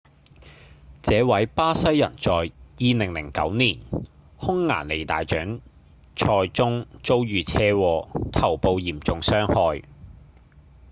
這位巴西人在2009年匈牙利大獎賽中遭遇車禍頭部嚴重傷害